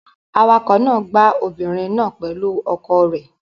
Awakọ̀ náà gbá obìnrin náà pẹ̀lú ọkọ̀ rẹ̀.